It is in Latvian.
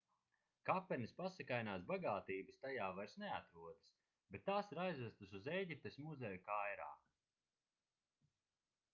kapenes pasakainās bagātības tajā vairs neatrodas bet tās ir aizvestas uz ēģiptes muzeju kairā